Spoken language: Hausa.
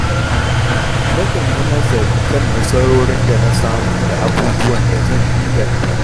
Na kan yi nazari kan nasarorin da na samu da abubuwan da zan inganta.